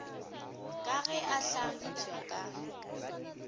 ka ge a hlagipwa ka